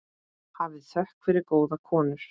Hafið þökk fyrir góðu konur.